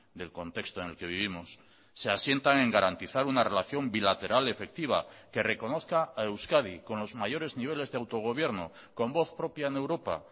del contexto en el que vivimos se asientan en garantizar una relación bilateral efectiva que reconozca a euskadi con los mayores niveles de autogobierno con voz propia en europa